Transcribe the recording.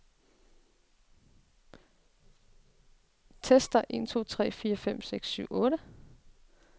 Tester en to tre fire fem seks syv otte.